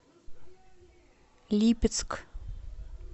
липецк